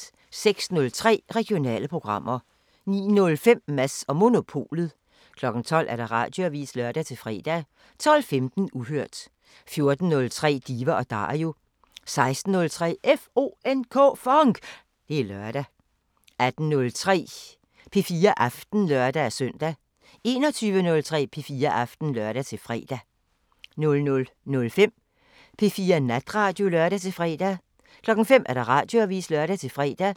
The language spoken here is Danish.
06:03: Regionale programmer 09:05: Mads & Monopolet 12:00: Radioavisen (lør-fre) 12:15: Uhørt 14:03: Diva & Dario 16:03: FONK! Det er lørdag 18:03: P4 Aften (lør-søn) 21:03: P4 Aften (lør-fre) 00:05: P4 Natradio (lør-fre) 05:00: Radioavisen (lør-fre)